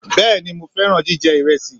Bẹẹni Mo fẹran jijẹ iresi